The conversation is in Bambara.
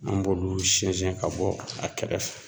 An b'olu sinɲɛn siɲɛn ka bɔ a kɛrɛfɛ.